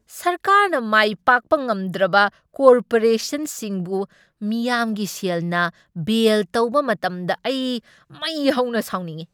ꯁꯔꯀꯥꯔꯅ ꯃꯥꯏ ꯄꯥꯛꯄ ꯉꯝꯗ꯭ꯔꯕ ꯀꯣꯔꯄꯣꯔꯦꯁꯟꯁꯤꯡꯕꯨ ꯃꯤꯌꯥꯝꯒꯤ ꯁꯦꯜꯅ ꯕꯦꯜ ꯇꯧꯕ ꯃꯇꯝꯗ ꯑꯩ ꯃꯩ ꯍꯧꯅ ꯁꯥꯎꯅꯤꯡꯢ꯫